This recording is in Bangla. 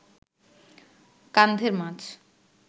কান্ধের মাছ